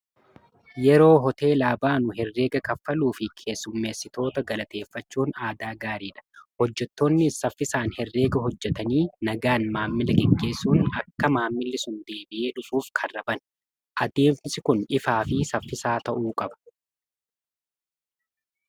yeroo hoteelaa baanu herreega kaffaluu fi keessummeessitoota galateeffachuun aadaa gaariidha hojjetoonni saffiisaan herreega hojjetanii nagaan maammila qiggeessuun akka maammilisun deebi'ee dhufuuf karra bana adeemsi kun ifaa fi saffisaa ta'uu qaba